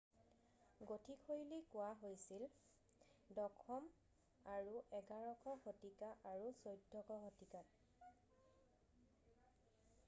Gothic শৈলী কোৱা হৈছিল 10ম আৰু 11শ শতিকা আৰু 14শ শতিকাত